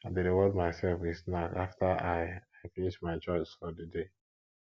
i dey reward myself with snack after i i finish my chores for di day